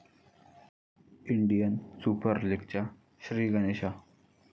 Indian super लीगचा 'श्रीगणेशा'